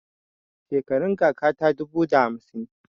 Shekarun kaka ta dubu da hamsin.